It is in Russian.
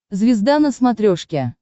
звезда на смотрешке